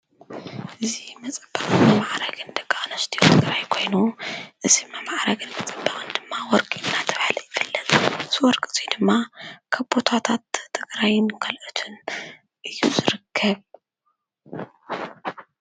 እዙ መጸባባ መዕረግን ደቃኣንስትዮ ገራ ኣይኮይኑ እሲማ መዕረግን መጸባውን ድማ ወርቂ እናተብሃል ኣይፈለን ዝወርቂ እዙይ ድማ ካቦታታት ትግራይን ካልኦቱን እዩ ዝርከብ